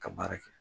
Ka baara kɛ